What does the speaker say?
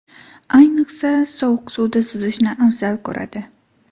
Ayniqsa, sovuq suvda suzishni afzal ko‘radi.